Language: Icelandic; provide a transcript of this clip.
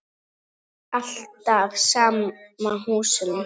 Alltaf sama húsinu.